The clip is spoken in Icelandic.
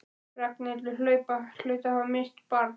Ragnhildur hlaut að hafa misst barn.